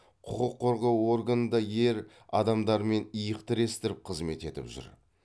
құқық қорғау органында ер адамдармен иық тірестіріп қызмет етіп жүр